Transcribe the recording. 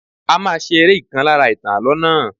A máa ṣe eré ìkan lára ìtàn Àlọ́ náà